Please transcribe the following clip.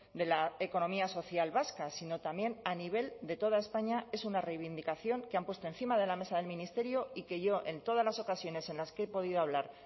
de la economía social vasca sino también a nivel de toda españa es una reivindicación que han puesto encima de la mesa del ministerio y que yo en todas las ocasiones en las que he podido hablar